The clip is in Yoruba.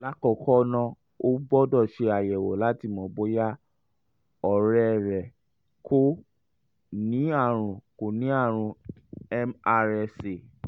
lákọ̀ọ́kọ́ ná o gbọ́dọ̀ ṣe àyẹ̀wò láti mọ̀ bóyá ọ̀rẹ́ rẹ kò ní àrùn kò ní àrùn mrsa